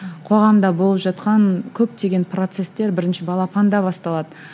қоғамда болып жатқан көптеген процестер бірінші балапанда басталады